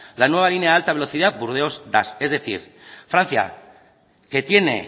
la nueva línea de alta velocidad burdeos dax es decir francia que tiene